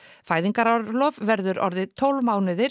fæðingarorlof verður orðið tólf mánuðir